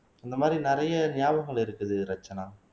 இந்த மாதிரி நிறைய ஞாபகங்கள் இருக்குது ரட்சனா